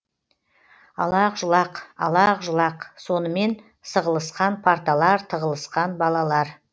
алақ жұлақ алақ жұлақ сонымен сығылысқан парталар тығылысқан балалар